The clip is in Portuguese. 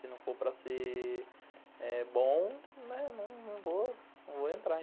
Se não for para ser bom, né, não vou entrar.